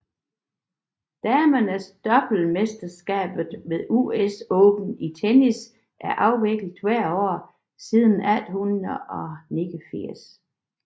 Damedoublemesterskabet ved US Open i tennis er afviklet hvert år siden 1889